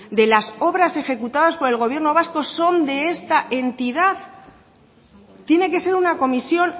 de la obras ejecutadas por el gobierno vasco son de esta entidad tiene que ser una comisión